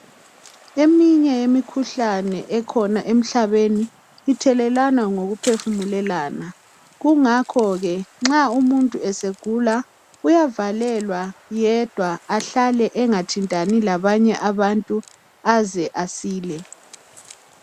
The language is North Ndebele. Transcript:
Eminye yemikhuhlane ekhona emhlabeni ithelelwana ngoku phefumulelana kungakhoke nxa umuntu esegula uyavalelwa yedwa ahlale engathintani labanye abantu aze asile.